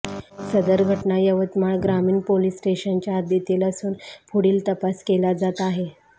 सदर घटना यवतमाळ ग्रामीण पोलिस स्टेशनच्या हद्दीतील असून पुढील तपास केला जात आहे